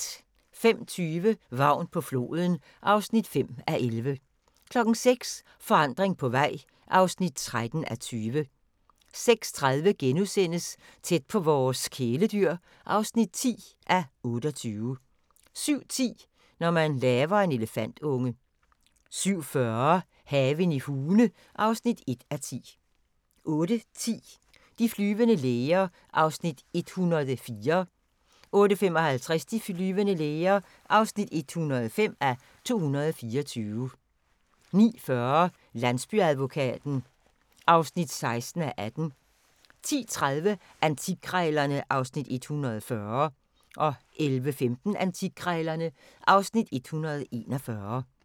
05:20: Vagn på floden (5:11) 06:00: Forandring på vej (13:20) 06:30: Tæt på vores kæledyr (10:28)* 07:10: Når man laver en elefantunge 07:40: Haven i Hune (1:10) 08:10: De flyvende læger (104:224) 08:55: De flyvende læger (105:224) 09:40: Landsbyadvokaten (16:18) 10:30: Antikkrejlerne (Afs. 140) 11:15: Antikkrejlerne (Afs. 141)